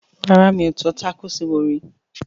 Rárá mi ò tọ́ tákòòsì wò rí